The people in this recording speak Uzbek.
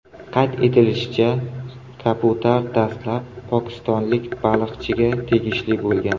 Qayd etilishicha, kabutar dastlab pokistonlik baliqchiga tegishli bo‘lgan.